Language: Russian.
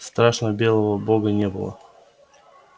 страшного белого бога не было